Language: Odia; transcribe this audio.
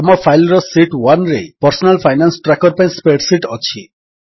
ଆମ ଫାଇଲ୍ ର ଶୀଟ୍ 1ରେ ପର୍ସନାଲ ଫାଇନାନ୍ସ ଟ୍ରାକର ପାଇଁ ସ୍ପ୍ରେଡ୍ ଶୀଟ୍ ଅଛି